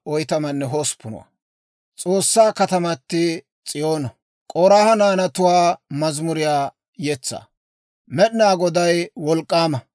Med'inaa Goday wolk'k'aama. Nu S'oossaa kataman Aa geeshsha deriyaan aad'd'o galatay aw bessee.